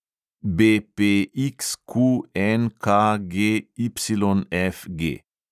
BPXQNKGYFG